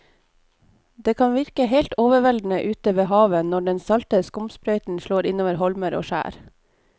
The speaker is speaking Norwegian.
Det kan virke helt overveldende ute ved havet når den salte skumsprøyten slår innover holmer og skjær.